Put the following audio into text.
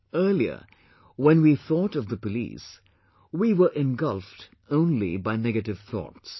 Earlier when we thought of the police, we were engulfed only by negative thoughts